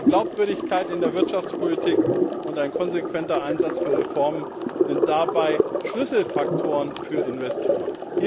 Aber Glaubwürdigkeit in der Wirtschaftspolitik und ein konsequenter Einsatz für Reformen sind dabei Schlüsselfaktoren für Investoren.